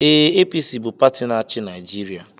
Ee, APC bụ pati na-achị Naịjirịa.